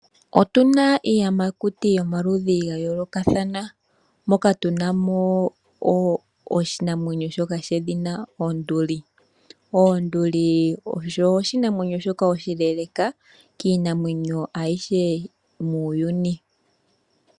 Otuna iiyamakuti yomaludhi ga yoolokathana moka tunamo wo oshinamwenyo shoka shedhina onduli. Onduli osho oshinamwenyo shoka oshileeleka kiinamwenyo ayihe muuyuni.